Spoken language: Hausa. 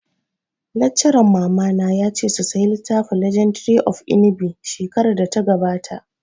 Laccaran mamana ya ce su saya littafin 'legendary of Inigɓi' shekarar da ta gabata